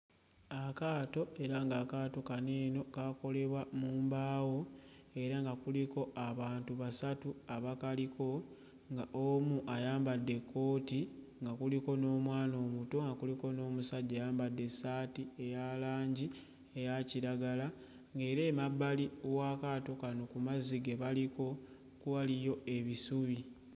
Akaato era ng'akaato kano eno kaakolebwa mu mbaawo era nga kuliko abantu basatu abakaliko nga omu ayambadde ekkooti nga kuliko n'omwana omuto nga kuliko n'omusajja ayambadde essaati eya langi eya kiragala ng'era emabbali w'akaato kano ku mazzi ge baliko waliyo ebisubi.